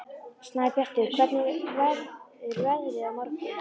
Snæbjartur, hvernig verður veðrið á morgun?